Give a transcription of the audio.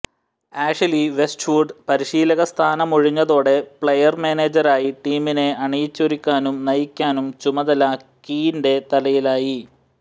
Ashley Westwood പരിശീലകസ്ഥാനമൊഴിഞ്ഞതോടെ player മാനേജരായി ടീമിനെ അണിയിച്ചൊരുക്കാനും നയിക്കാനും ചുമതല കീന്റെ തലയിലായി